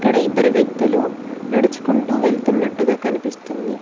ఇక్కడ ఇద్దరు వ్యక్తులు నడుచుకుంటూ వెళుతున్నట్టుగా కనిపిస్తుంది.